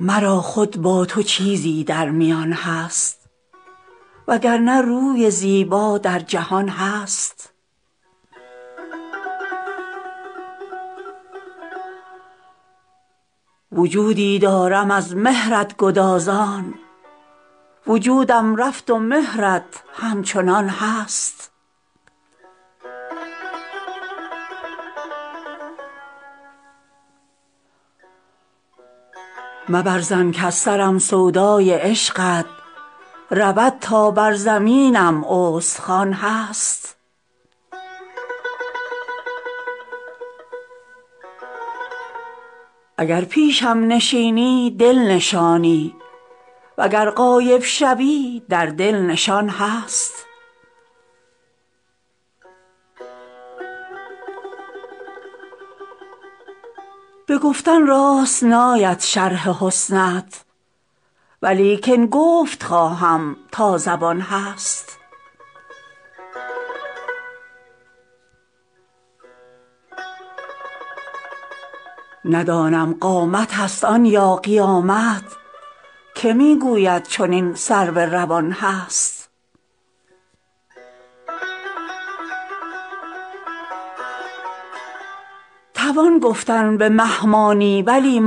مرا خود با تو چیزی در میان هست و گر نه روی زیبا در جهان هست وجودی دارم از مهرت گدازان وجودم رفت و مهرت همچنان هست مبر ظن کز سرم سودای عشقت رود تا بر زمینم استخوان هست اگر پیشم نشینی دل نشانی و گر غایب شوی در دل نشان هست به گفتن راست ناید شرح حسنت ولیکن گفت خواهم تا زبان هست ندانم قامتست آن یا قیامت که می گوید چنین سرو روان هست توان گفتن به مه مانی ولی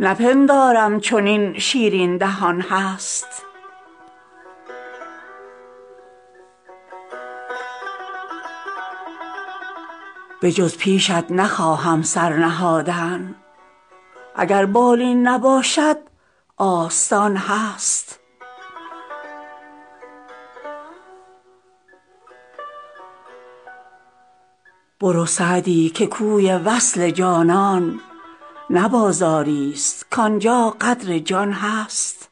ماه نپندارم چنین شیرین دهان هست بجز پیشت نخواهم سر نهادن اگر بالین نباشد آستان هست برو سعدی که کوی وصل جانان نه بازاریست کان جا قدر جان هست